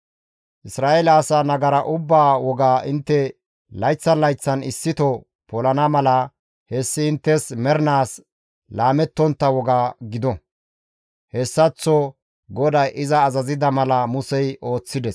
Isra7eele asaa nagara ubbaa woga intte layththan layththan issito polana mala hessi inttes mernaas laamettontta woga gido.» Hessaththo GODAY iza azazida mala Musey ooththides.